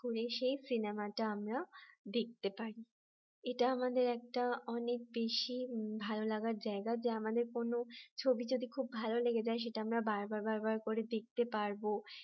করে সেই সিনেমাটা আমরা দেখতে পারি এটা আমাদের একটা অনেক বেশি ভালো লাগার জায়গা যে আমাদের কোন ছবি যদি খুব ভালো লেগে যায় সেটা আমরা বারবার বারবার করে দেখতে পারব